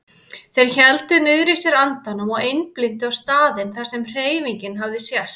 Þeir héldu niðri í sér andanum og einblíndu á staðinn þar sem hreyfingin hafði sést.